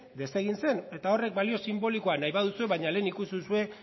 desegin zen eta horrek balio sinbolikoa nahi baduzue baino lehen ikusi duzue